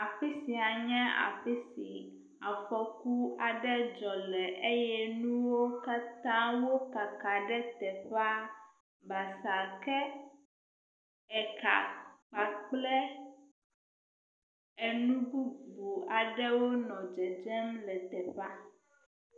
Afi sia nye afi si afɔku aɖe dzɔ le eye nuwo katã wokaka ɖe teƒea basa ke eka kple enu bubu aɖewo nɔ dzedzem le teƒea.